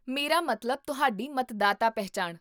ਮੇਰਾ ਮਤਲਬ ਤੁਹਾਡੀ ਮਤਦਾਤਾ ਪਹਿਚਾਣ